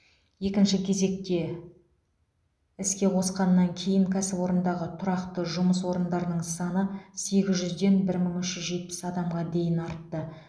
екінші кезекте іске қосқаннан кейін кәсіпорындағы тұрақты жұмыс орындарының саны сегіз жүзден бір мың үш жүз жетпіс адамға дейін артты